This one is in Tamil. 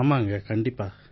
ஆமாங்க கண்டிப்பா